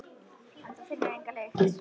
En hún finnur enga lykt.